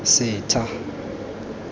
setha